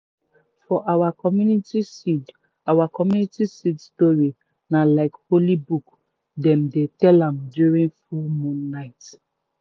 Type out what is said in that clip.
for our community seed our community seed story na like holy book dem dey tell am during full moon night.